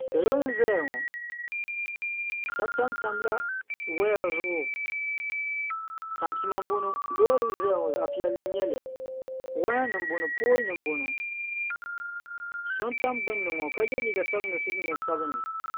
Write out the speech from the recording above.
salo n ʒɛya ŋɔ shɛbi tamtala waya zuɣ' tamipɛma n bɔŋɔ lori m zaya ŋɔ zaɣ' piɛli n nyɛli waya nim n buŋɔ poli nim n bɔŋɔ so tam gbani ka yɛ liga sabinli ka so jinjam sabinli